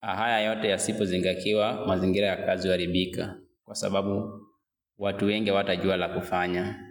Haya yote yasipozingatiwa mazingira ya kazi wa huaribika kwa sababu watu weng hawatajua la kufanya.